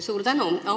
Suur tänu!